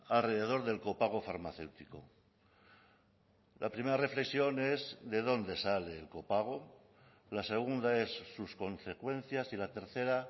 alrededor del copago farmacéutico la primera reflexión es de dónde sale el copago la segunda es sus consecuencias y la tercera